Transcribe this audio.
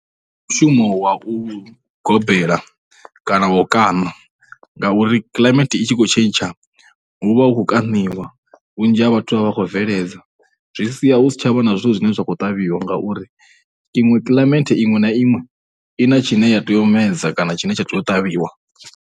Ndi mushumo wa u gobela kana wa u kaṋa ngauri climate i tshi khou tshentsha hu vha hu khou kaṋiwa vhunzhi ha vhathu vha vha vha khou bveledza, zwi sia hu si tsha vha na zwithu zwi khou ṱavhiwa ngauri iṅwe climate iṅwe na iṅwe i na tshine ya tea u medza kana tshine tsha tea u ṱavhiwa.